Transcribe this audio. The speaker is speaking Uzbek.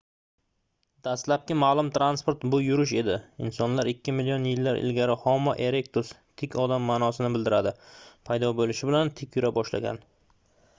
dastlabki ma'lum transport — bu yurish edi insonlar ikki million yillar ilgari homo erectus tik odam ma'nosini bildiradi paydo bo'lishi bilan tik yura boshlagan